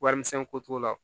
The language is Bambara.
Warimisɛnko t'o la